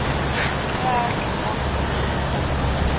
getrek aangesien byna